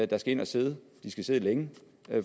der skal ind at sidde og de skal sidde længe